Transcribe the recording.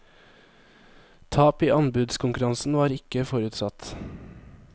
Tap i anbudskonkurransen var ikke forutsatt.